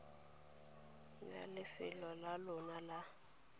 ya lefelo la lona ya